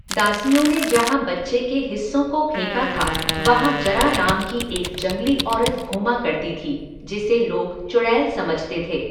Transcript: दासियों ने जहां बच्चे के हिस्सों को फेंका था वहां जरा नाम की एक जंगली औरत घूमा करती थी जिसे लोग चुड़ैल समझते थे।